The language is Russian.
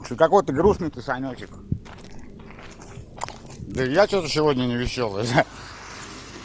что-то какой-то грустный ты санёчек да и я что-то сегодня не весёлай да